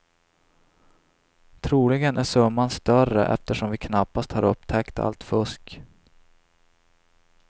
Troligen är summan större eftersom vi knappast har upptäckt allt fusk.